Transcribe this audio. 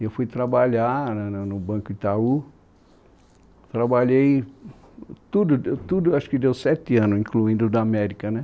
Eu fui trabalhar no no Banco Itaú, trabalhei tudo, tudo, acho que deu sete anos, incluindo o da América, né?